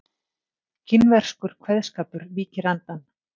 Kínverskur kveðskapur mýkir andann